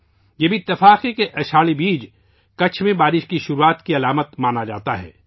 یہ بھی اتفاق ہے کہ آشاڑھی بیج کچھ میں بارش کے آغاز کی علامت سمجھا جاتا ہے